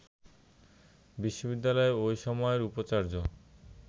বিশ্ববিদ্যালয়ের ওই সময়ের উপাচার্য